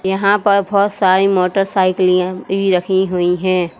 यहां पर बहोत सारी मोटरसाइकिलियां भी रखी हुई हैं।